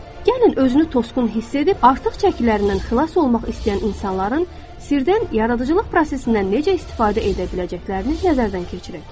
Gəlin özünü tosqun hiss edib artıq çəkilərindən xilas olmaq istəyən insanların sirdən yaradıcılıq prosesindən necə istifadə edə biləcəklərini nəzərdən keçirək.